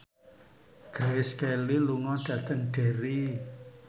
Grace Kelly lunga dhateng Derry